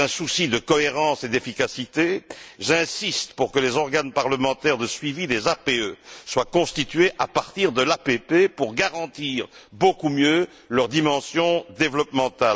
Dans un souci de cohérence et d'efficacité, j'insiste pour que les organes parlementaires de suivi des APE soient constitués à partir de l'APP pour garantir beaucoup mieux leur dimension de développement.